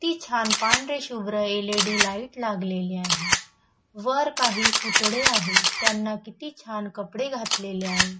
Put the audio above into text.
ती छान पांढरे शुभ्र एल इ डी लाइट लागलेली आहे वर काही पुतळे आहे त्यांना किती छान कपडे घातलेले आहे.